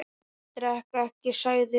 Ég drekk ekki, sagði hún.